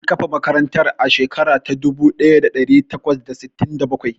An kafa makarantar a shekara ta dubu ɗaya da ɗari takwas da sittin da bakwai.